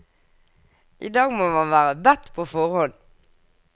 I dag må man være bedt på forhånd.